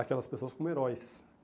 aquelas pessoas como heróis.